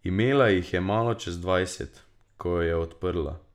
Imela jih je malo čez dvajset, ko jo je odprla.